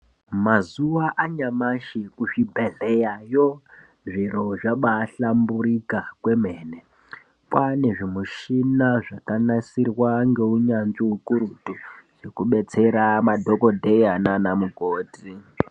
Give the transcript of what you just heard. Mazuwa anyamashi kuzvibhedhleyayo zviro zvabaahlamburika kwemene paane zvimushina zvakanasirwa ngeunyanzvi ukurutu zvekudetsera madhokodheya nanamukoti.